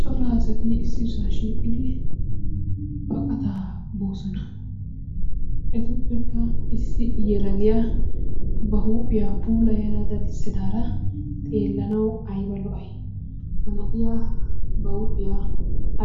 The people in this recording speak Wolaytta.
Cora asati issisaa shiiqidi baqataa boosona. Etuppekka issi yelagiyaa ba huuphphiyaa puulaya daddissidaara xeellanawu ayba lo''ay? Ha na'iya ba huuphphiyaa